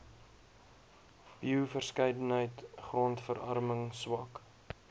bioverskeidenheid grondverarming swak